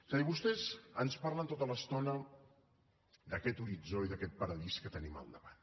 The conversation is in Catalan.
és a dir vostès ens parlen tota l’estona d’aquest horitzó i d’aquest paradís que tenim al davant